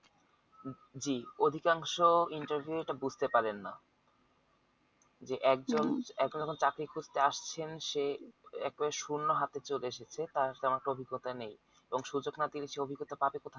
জি অধিকাংশ interview এ এটাবুঝতে পারেন না যে এখন এখন চাকরি খুঁজতে আসছেন সে একেবারে শুন্য হাতে চলে এসেছে তার কোনো অভিজ্ঞতা নেই এবং সুযোগ না পেলে সে অভিজ্ঞতা পাবে কথা